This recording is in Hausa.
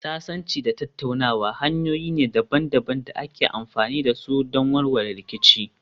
Sasanci da tattaunawa hanyoyi ne daban-daban da ake amfani da su don warware rikici.